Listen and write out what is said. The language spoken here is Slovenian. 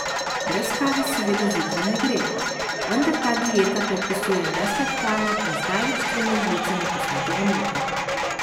Brez kave seveda zjutraj ne gre, vendar ta dieta predpisuje nesladkano in z največ tremi žlicami posnetega mleka.